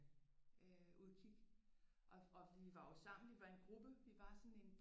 Øh Udkig og vi var jo sammen vi var en gruppe vi var sådan en